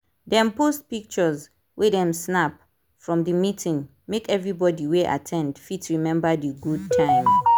dem post pictures wey dem snap from the meeting make everybody wey at ten d fit remember the good time.